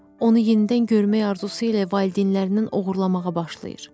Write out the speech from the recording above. Onu yenidən görmək arzusu ilə valideynlərindən oğurlamağa başlayır.